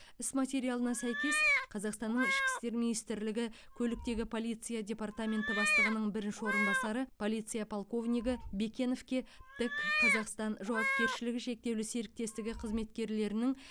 іс материалына сәйкес қазақстанның ішкі істер министрлігі көліктегі полиция департаменті бастығының бірінші орынбасары полиция полковнигі бекеновке тэк қазақстан жауапкершілігі шектеулі серіктестігі қызметкерлерінің